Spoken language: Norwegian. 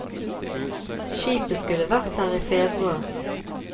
Skipet skulle vært her i februar.